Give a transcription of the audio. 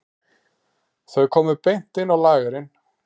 Þau komu beint inn á lagerinn.